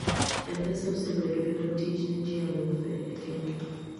mpesa osebedo yor tich ne ji alufe e kenya